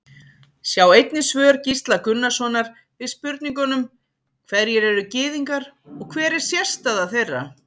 Sjá einnig svör Gísla Gunnarssonar við spurningunum Hverjir eru Gyðingar og hver er sérstaða þeirra?